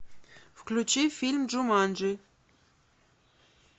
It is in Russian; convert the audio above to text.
включи фильм джуманджи